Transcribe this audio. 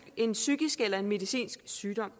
en psykisk eller en medicinsk sygdom